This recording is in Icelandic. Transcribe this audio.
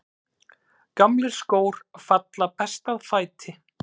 Gamlir skór falla best að fæti.